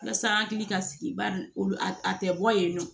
Walasa hakili ka sigi ba ni olu a tɛ bɔ yen nɔ